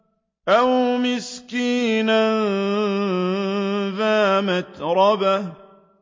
أَوْ مِسْكِينًا ذَا مَتْرَبَةٍ